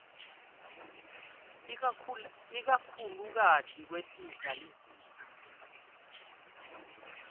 ikakhulukati kwehlisa lizinga